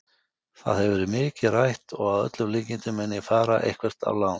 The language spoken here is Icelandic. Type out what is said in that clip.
Það hefur verið mikið rætt og að öllum líkindum mun ég fara eitthvert á lán.